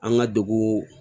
An ka dugu